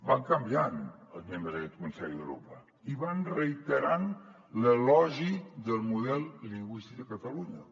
van canviant els membres d’aquest consell d’europa i van reiterant l’elogi del model lingüístic a catalunya